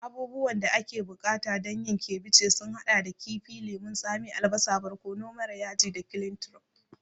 Abubuwan da ake buƙata don yin ceviche sun haɗa da kifi, lemun tsami, albasa, barkono mara yaji da cliantro.